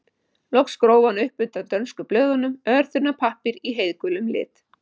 Loks gróf hann upp undan dönsku blöðunum örþunnan pappír í heiðgulum lit.